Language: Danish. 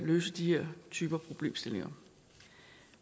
løse de her typer af problemstillinger